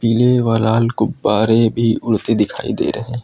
पिले व लाल गुब्बारे भी उड़ते दिखाई दे रहे--